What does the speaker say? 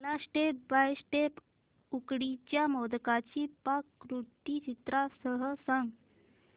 मला step by step उकडीच्या मोदकांची पाककृती चित्रांसह सांग